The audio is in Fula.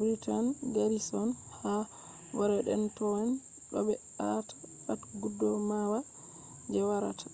britain garrison ha boredentown do ɓe aata pat gudumawa je warata